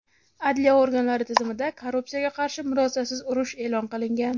Adliya organlari tizimida korrupsiyaga qarshi murosasiz urush e’lon qilingan.